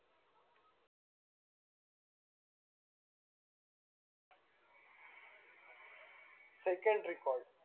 second record